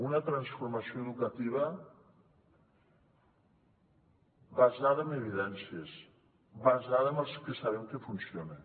una transformació educativa basada en evidències basada en el que sabem que funciona